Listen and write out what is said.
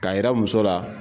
K'a yira muso la